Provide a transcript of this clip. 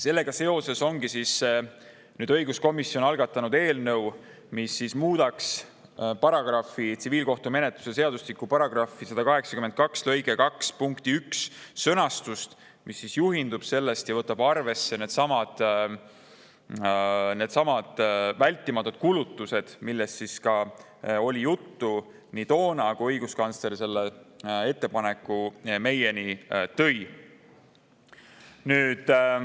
Sellega seoses algatas õiguskomisjon eelnõu, mis muudaks tsiviilkohtumenetluse seadustiku § 182 lõike 2 punkti 1 sõnastust ja võtaks arvesse neidsamu vältimatuid kulutusi, millest oli juttu ka toona, kui õiguskantsler selle ettepaneku meieni tõi.